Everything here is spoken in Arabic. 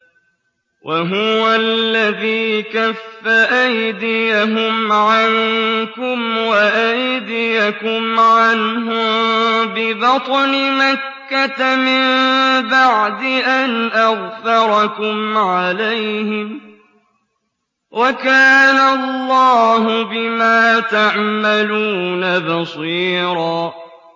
وَهُوَ الَّذِي كَفَّ أَيْدِيَهُمْ عَنكُمْ وَأَيْدِيَكُمْ عَنْهُم بِبَطْنِ مَكَّةَ مِن بَعْدِ أَنْ أَظْفَرَكُمْ عَلَيْهِمْ ۚ وَكَانَ اللَّهُ بِمَا تَعْمَلُونَ بَصِيرًا